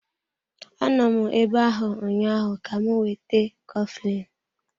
Anọ m ebe ahụ ụnyaahụ ka m weta coflin.